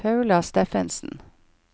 Paula Steffensen